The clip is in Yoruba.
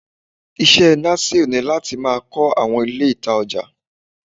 Ise Nasir ni lati ma kó awọn Ilé ita oja.